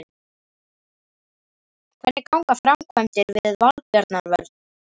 Hvernig ganga framkvæmdir við Valbjarnarvöll?